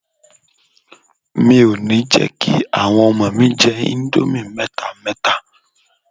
Mi ò ní jẹ́ kí àwọn ọmọ mi jẹ íńdómì mẹ́ta mẹ́ta.